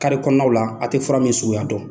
Kari kɔnɔnaw la , a tɛ fura min suguya dɔn.